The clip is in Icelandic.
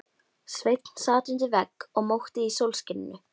Sveinn sat undir vegg og mókti í sólskininu.